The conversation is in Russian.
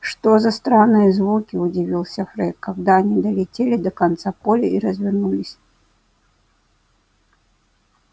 что за странные звуки удивился фред когда они долетели до конца поля и развернулись